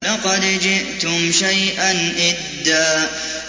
لَّقَدْ جِئْتُمْ شَيْئًا إِدًّا